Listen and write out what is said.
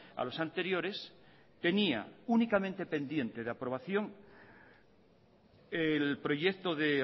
a los anteriores tenía únicamente pendiente de aprobación el proyecto de